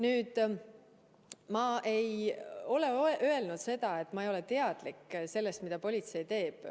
Nüüd, ma ei ole öelnud, et ma ei ole teadlik sellest, mida politsei teeb.